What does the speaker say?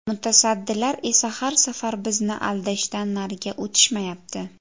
Mutasaddilar esa har safar bizni aldashdan nariga o‘tishmayapti.